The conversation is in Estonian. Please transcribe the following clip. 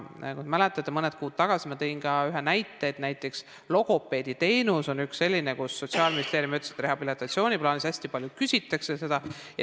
Mäletate, mõned kuud tagasi ma tõin ühe näite, et logopeediteenus on üks selliseid, mille kohta Sotsiaalministeerium ütles, et rehabilitatsiooniplaanis seda hästi palju küsitakse.